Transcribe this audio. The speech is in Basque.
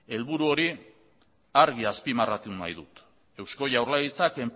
helburu hori argi azpimarratu nahi dut eusko jaurlaritzak